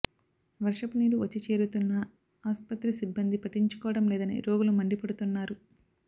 వర్షపు నీరు వచ్చి చేరుతున్నా ఆస్పత్రి సిబ్బంది పట్టించుకోవడం లేదని రోగులు మండిపడుతున్నారు